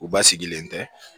U ba sigilen tɛ